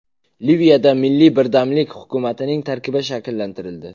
Liviyada milliy birdamlik hukumatining tarkibi shakllantirildi.